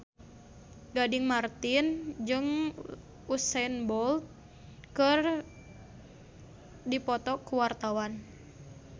Gading Marten jeung Usain Bolt keur dipoto ku wartawan